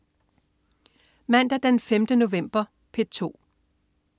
Mandag den 5. november - P2: